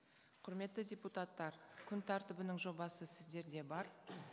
құрметті депутаттар күн тәртібінің жобасы сіздерде бар